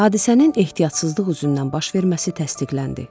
Hadisənin ehtiyatsızlıq üzündən baş verməsi təsdiqləndi.